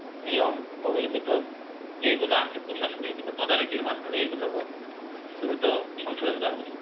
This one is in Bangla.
নিয়ম বহির্ভূত যেগুলো আছে প্রশাসনের কিন্তু তদারকির মাধ্যমে এই গুলো দ্রুত সংশোধন করা উচিৎ।